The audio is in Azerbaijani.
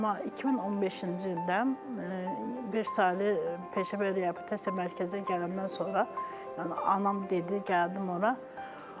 Amma 2015-ci ildən beş saylı peşə və reabilitasiya mərkəzinə gələndən sonra anam dedi gəldim ora.